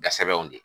Ga sɛbɛnw di